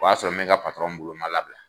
O y'a sɔrɔ n ka patɔrɔn bolo n ma labila!